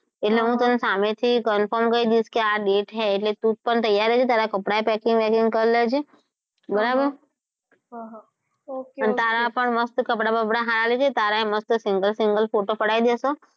એટલે હું તને સામેથી confirm કહી દઈશ એટલે તું પણ તૈયાર રે તારા કપડાં પણ packing બેકિંગ કરી લેજે બરાબર તારા પણ મસ્ત કપડાં સારા સારા લેજે તારા મસ્ત single single photo પડાવી દઇશું.